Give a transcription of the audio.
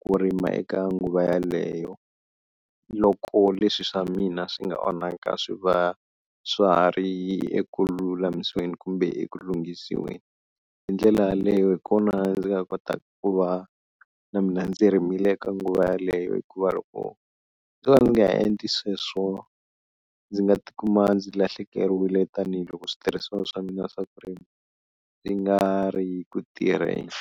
ku rima eka nguva yeleyo loko leswi swa mina swi nga onhaka swi va swa ha ri eku lulamiseni kumbe ekulunghisiweni, hi ndlela yaleyo hi kona ndzi nga kotaka ku va na mina ndzi rimile eka nguva yeleyo hikuva loko ndzo va ndzi nga endli sweswo, ndzi nga tikuma ndzi lahlekeriwile tanihiloko switirhisiwa swa mina swa swi nga ri ku tirheni.